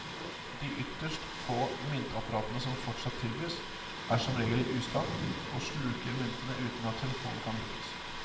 De ytterst få myntapparatene som fortsatt tilbys, er som regel i ustand og sluker mynter uten at telefonen kan brukes.